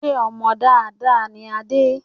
Ṣé ọmọ dáadáa ni Adé